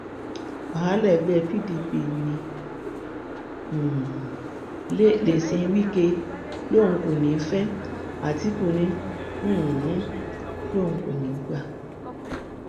wàhálà ẹgbẹ pdp ń um le sí wike lóun kò ní í fẹ àtìkù um lòun kò ní í gbà